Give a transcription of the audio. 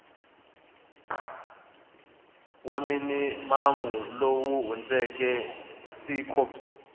wa minimamu lowu hundzeke cpix